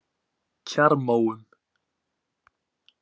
Kjarrmóum